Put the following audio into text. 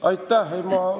Aitäh!